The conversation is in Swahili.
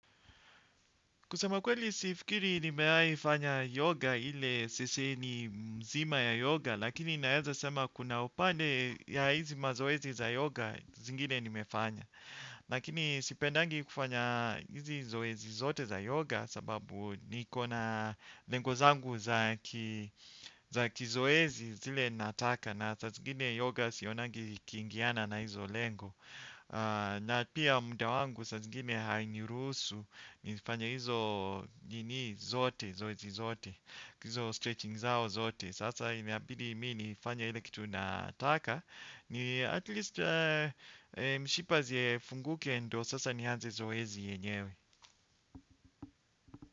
Kusema kweli sifikiri nimeaifanya yoga ile sisi ni mzima ya yoga, lakini naeza sema kuna upande ya hizi mazoezi za yoga zingine nimefanya. Lakini sipendangi kufanya hizi zoezi zote za yoga sababu niko na lengo zangu za kizoezi zile nataka na sa zingine yoga sionangi ikiingiana na hizo lengo. Na pia muda wangu saa zingine hainiruhusu nizifanye hizo nini zote, zoezi zote Kizo stretching zao zote. Sasa inabidi mi nifanye ile kitu nataka. Ni atleast mshipa ziefunguke ndio sasa nianze zoezi yenyewe.